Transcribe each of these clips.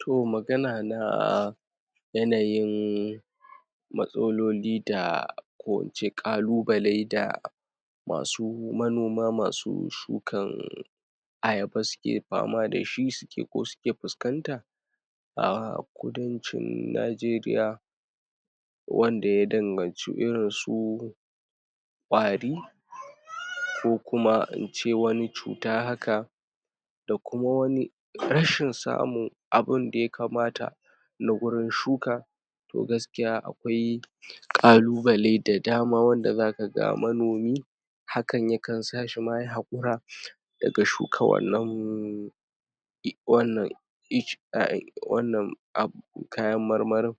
toh magana na yanayin matsalolin da ko ince kalubalen da masu manoma masu shukan (innnnn) ayaba suke famadashi suke ko suke fuskanta a kudancin Nigeriya wanda ya danganci irin su ƙwari ko kuma ince wani cuta haka da kuma wani rashin samun abunda ya kamata nagurin shuka toh gaskiya akwai ƙalubale da dama wanda zakaga manomi hakan yakan sashima yayi hakura daga shuka wannan wannan (ic ) ai wanan abu kayan marmarin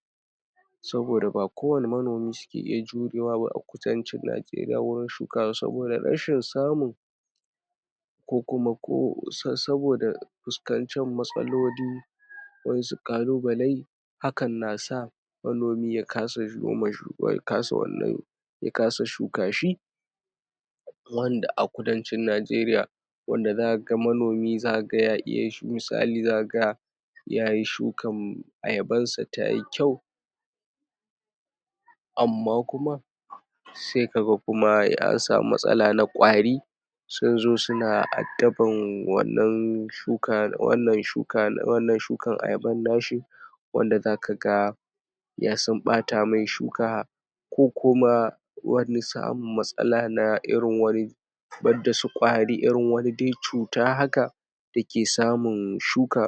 saboda ba kowani manomi ke iya jurewa ba wurin shuka saboda rashin samu kokuma ko sa sabida fuskancen matsaloli waƴansu kalubale hakan nasa manomi ya kasa ya kasa wanne ya kasa shuka shi wanda a kudancin Nigeriya wanda zakaga manomi zakaga ya iya shu misali zaka ga yayi shukam ayabansa tayi kyau amma kuma sai kaga kuma yasamu matsala na kwari sunzo suna addabar wannan shuka wannan shuka wannan shukan ayaban nan nashi wanda zakaga ya sun ɓata mai shuka ko kuma wani samun matsala na irin na wani banda su kwari irin wani de cuta haka dake samun shuka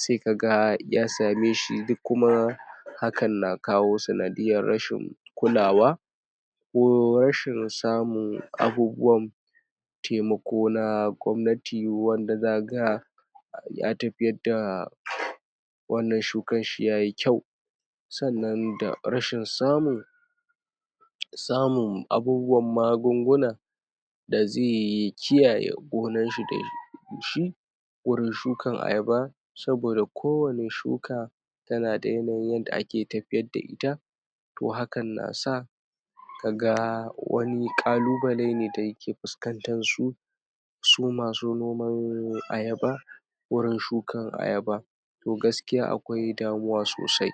sai kaga yasameshi dakuma hakan na kawo sanadiyar rashin kulawa ko rashin samun abubuwan taimako na gwamnati wanda za ga a ya tafiyarda wannan shukanshi yayi kyau sa'anan da rashin samun samun abubuwan magunguna daze yi kiyaye gonarshi de shi wurin shukar ayaba saboda ko wani shuka yanada yanayin yanda ake tafiyarda ita ko hakan nasa kaga wani ƙalubalene da yake fuskantansu su masu noman ayaba wurin shukan ayaba toh gaskiya akwai damuwa sosai